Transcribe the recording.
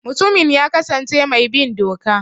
Mutumin ya kasance mai bin doka.